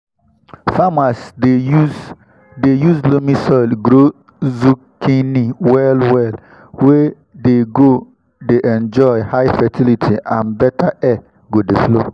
farmers dey use dey use loamy soil grow zucchini well well wey dey go dey enjoy high fertility and better air go dey flow